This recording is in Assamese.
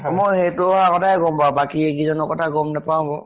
মই সেইটো আগতে গম পাওঁ, বাকী এই কিজনৰ কথা গম নাপাওঁ বাউ।